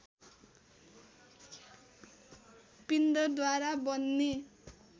पिण्डद्वारा बन्ने